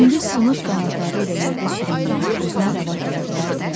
İndi sınıq qanadları ilə yerdə sürünməyi özünə rəva görə bilərdimi?